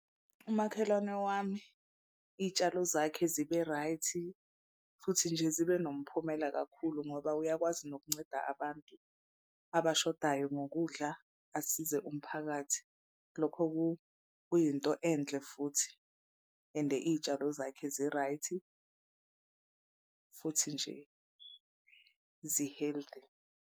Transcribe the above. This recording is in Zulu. Umakhelwane wami iy'tshalo zakhe zibe right futhi nje zibe nomphumela kakhulu ngoba uyakwazi nokunceda abantu abashodayo ngokudla asize umphakathi. Lokho kuyinto enhle futhi ende iy'tshalo zakhe zi-right futhi nje zi-healthy.